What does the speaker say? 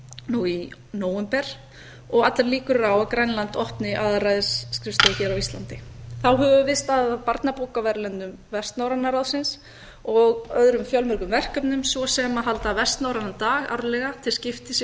nú í nóvember og allar líkur eru á að grænland opni aðalræðisskrifstofu hér á íslandi þá höfum við staðið að barnabókaverðlaunum vestnorræna ráðsins og öðrum fjölmörgum verkefnum svo sem að halda vestnorrænan dag árlega til skiptis í